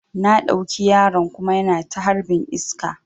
Na ɗauki yaron kuma yana ta harbin iska